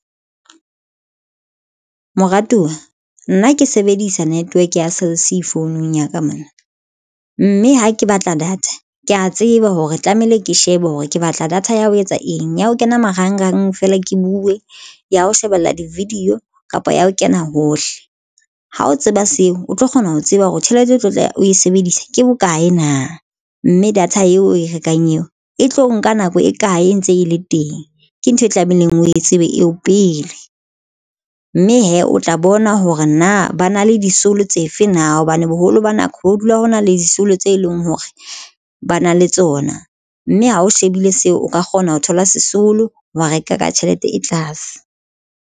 Moratuwa nna ke sebedisa network ya Cell C founung ya ka mono mme ha ke batla data ke ya tseba hore tlamehile ke shebe hore ke batla data ya ho etsa eng ya ho kena marangrang feela. Ke buwe ya ho shebella di-video kapa ya ho kena hohle ha o tseba seo o tlo kgona ho tseba hore tjhelete o tlo tla o e sebedisa ke boka na mme data eo oe rekang eo e tlo nka nako e kae e ntse e le teng? Ke ntho e tlamehileng o e tsebe eo pele mme hee o tla bona hore na ba na le disolo na hobane boholo ba nako ho dula ho na le disolo tse leng hore ba na le tsona, mme ha o shebile seo o ka kgona ho thola sesolo wa reka ka tjhelete e tlase.